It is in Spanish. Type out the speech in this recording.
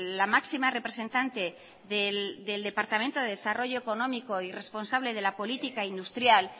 la máxima representante del departamento de desarrollo económico y responsable de la política industrial